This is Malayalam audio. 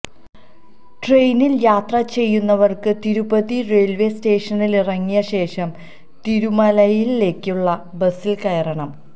ട്രെയിനില് യാത്ര ചെയ്യുന്നവര്ക്ക് തിരുപ്പതി റെയില്വേ സ്റ്റേഷനിലിറങ്ങിയ ശേഷം തിരുമലയിലേക്കുള്ള ബസില് കയറണം